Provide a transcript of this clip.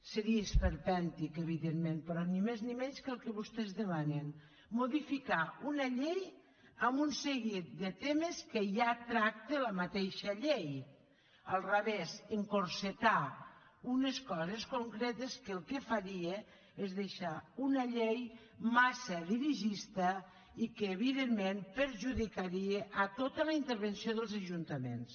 seria esperpèntic evidentment però ni més ni menys que el que vostès demanen modificar una llei en un seguit de temes que ja tracta la mateixa llei al revés encotillar unes coses concretes que el que faria és deixar una llei massa dirigista i que evidentment perjudicaria tota la intervenció dels ajuntaments